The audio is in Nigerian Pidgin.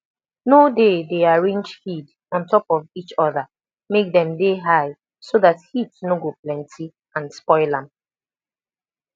no dey dey arrange feed ontop of each other make dem de high so dat heat no go plenty and spoil am